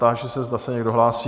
Táži se, zda se někdo hlásí?